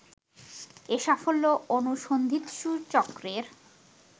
এ সাফল্য অনুসন্ধিৎসু চক্রের